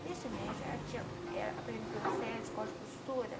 Nesse médico, ela tinha, aprendeu o sete corte de costura.